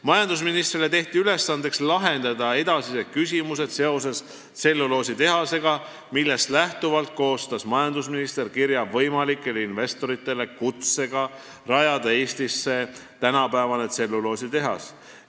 Majandusministrile tehti ülesandeks lahendada edasised küsimused seoses tselluloositehasega, millest lähtuvalt koostas majandusminister kirja võimalikele investoritele kutsega rajada Eestisse tänapäevane tselluloositehas.